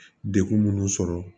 Dekun munnu sɔrɔ